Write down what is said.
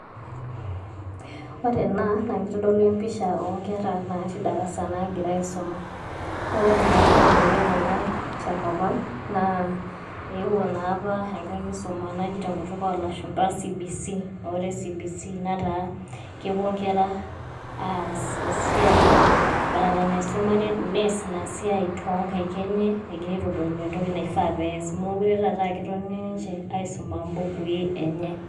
Ore ena naa kitodolu empisha oo nkera naatii darasa naagira aisuma, naa ore naa piibelekeny'e ena tenkop ang' naa eewuo naa apa enkae kisuma naji te enkutuk oolashumba Competence Based Carricullum, aa ore CBC netaa kepuo inkera aas esiai badala naisuma, nees ina siai too nkaik eny'e egira aitodolu entoki naifaa pees, meekure taa eeketoni ninche aisum imbukui eny'e.